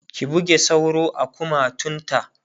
ki buge sauro a kumatun ta!